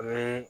Ni